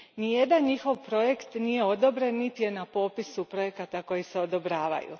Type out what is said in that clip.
Nijedan njihov projekt nije odobren niti je na popisu projekata koji se odobravaju.